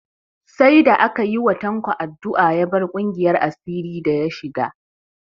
Sai da aka yi wa Tanko addu'a ya bar ƙungiyar asirin da ya shiga